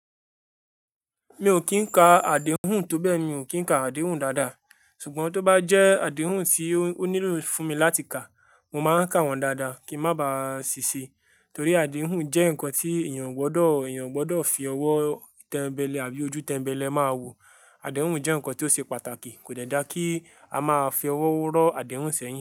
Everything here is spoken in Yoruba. Mi ò kín ka àdéhùn tó bẹ́ mi ò kín ka àdéhùn dáadáa. Ṣùgbọ́n tó bá jẹ́ àdéhùn tí ó nílò fún mi láti ka, mo máa ń ka wọ́n dáadáa kí má ba à ṣiṣẹ́. Torí àdéhùn jẹ́ nǹkan tí èèyàn gbọdọ̀, èèyàn gbọdọ̀ fi ọwọ́ ìtẹ̀ńbẹlẹ̀ àbí ojú tẹ̀ńbẹlẹ̀ máa wò. Àdéhùn jẹ́ nǹkan tí ó ṣe pàtàkì, kò dáadáa kí a máa fi ọwọ́ ró àdéhùn sẹ́yìn.